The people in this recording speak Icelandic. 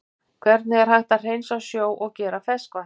Hvernig er hægt að hreinsa sjó og gera að ferskvatni?